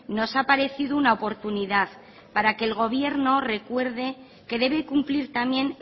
nos ha parecido una oportunidad para que el gobierno recuerde que debe cumplir también